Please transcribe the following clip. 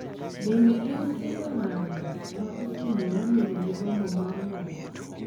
Bende en kelo ng�anjo ma osemiyo wabedo gi gombo mar ng�anjo